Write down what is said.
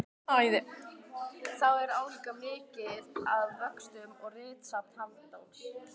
Þau eru álíka mikil að vöxtum og ritsafn Halldórs